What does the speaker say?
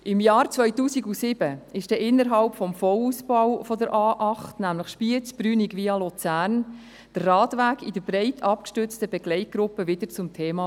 Im Jahr 2007 wurde innerhalb des Vollausbaus der A8 Spiez-Brünig-Luzern der Radweg in der breit abgestützten Begleitgruppe wieder zum Thema.